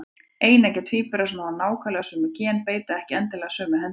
Eineggja tvíburar sem hafa nákvæmlega sömu gen beita ekki endilega sömu hendinni.